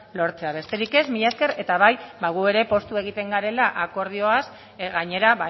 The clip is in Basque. lortzea besterik ez mila esker eta bai ba gu ere poztu egiten garela akordioaz gainera